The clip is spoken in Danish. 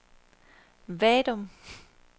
Vadum